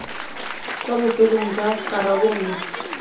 kwa bofelong jwa karabo nngwe